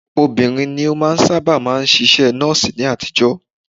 Obìnrin ni ó sáábà máa ń ṣiṣẹ́ Nọ́ọ̀sì ni àtijọ́.